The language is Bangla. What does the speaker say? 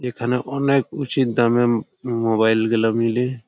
এখানে অনেক উচিৎ দামে মোঃ মোবাইল গুলা মিলে--